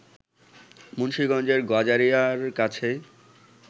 মুন্সিগঞ্জের গজারিয়ার কাছেই